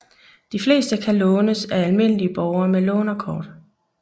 De fleste kan lånes af almindelige borgere med lånerkort